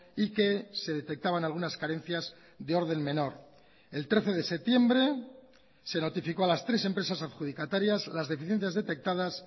y que se detectaban algunas carencias de orden menor el trece de septiembre se notificó a las tres empresas adjudicatarias las deficiencias detectadas